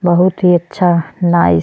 बहुत ही अच्छा नाइस --